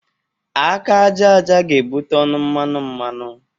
Aka aja aja ga-ebụte ọnụ mmanụ mmanụ.